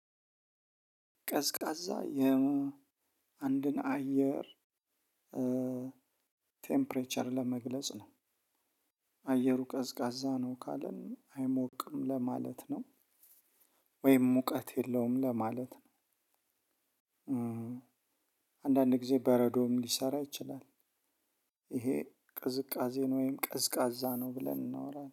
ቀዝቃዛ የአንድን አየር ቴምፕሬቸር ለመግለጽ ነው አየሩ ቀዝቃዛ ነው ካለን አይሞቅም ለማለት ነው ወይም ሙቀት የለውም ለማለት ነው። አንዳንድ ጊዜ በረዶም ሊሰራ ይችላል። ይሄ ቅዝቃዜ ወይም ቀዝቃዛ ነው ብለን ልናወራ እንችላለን